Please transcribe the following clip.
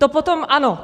To potom ano.